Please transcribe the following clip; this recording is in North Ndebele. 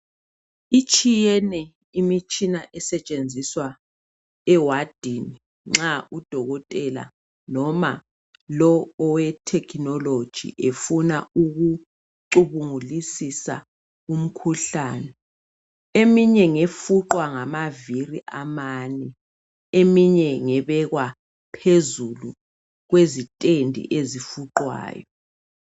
Etshiyeneyo imitshina esetshenziswa ewadini nxa udokotela noma lowu oweTechnology efuna ecubungulisisa umkhuhlane . Eminye ngefuqwa ngamavili amane, eminye ngebekwa phezulu kwezitendi ezifuqwayo.